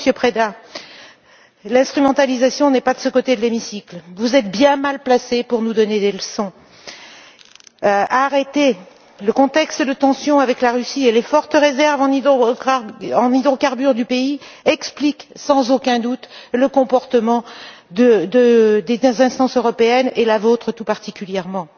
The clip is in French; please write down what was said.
non, Monsieur Preda, l'instrumentalisation n'est pas de ce côté de l'hémicycle. Vous êtes bien mal placé pour nous donner des leçons. Arrêtez! Le contexte de tensions avec la Russie et les fortes réserves en hydrocarbures du pays expliquent sans aucun doute le comportement des instances européennes et la vôtre tout particulièrement.